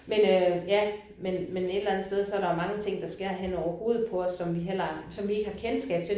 Men øh ja men men et eller andet sted så er der jo mange ting der sker hen over hovedet på os som vi heller aldrig som vi ikke har kendskab til